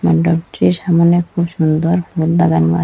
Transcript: মন্ডপটির সামোনে খুব সুন্দর ফুল লাগানো আ--